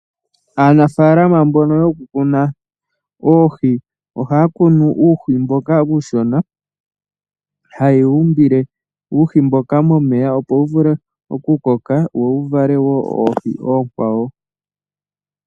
Aanafalama mbono yokukuna oohi ohaya kunu uuhi mboka uushona haye wu umbile uuhi mboka uushona momeya opo wuvule okukoka wo wuvale woo oohi oonkwawo.